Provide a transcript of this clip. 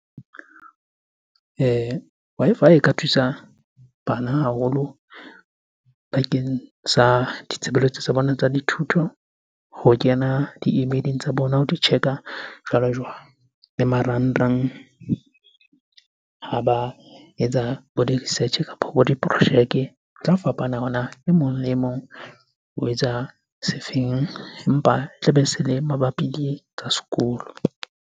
Wi-Fi e ka thusa bana haholo bakeng sa ditshebeletso tsa bona tsa dithuto. Ho kena di-email-eng tsa bona, ho di check-a jwalo-jwalo. Le marangrang ha ba etsa bo di-research kapo bo diprojeke. Ho tla fapana hore na e mong le e mong o etsa se feng? Empa tlabe se le mabapi le tsa sekolo.